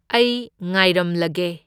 ꯑꯩ ꯉꯥꯏꯔꯝꯂꯒꯦ꯫